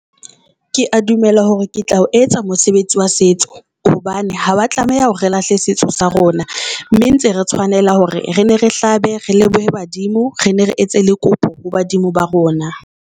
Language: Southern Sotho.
Kea dumela hore ke tla o etsa mosebetsi wa setso hobane ha wa tlameha hore re lahle setso sa rona. Mme ntse re tshwanela hore re ne re hlabe, re lebohe badimo re ne re etse le kopo ho badimo ba rona.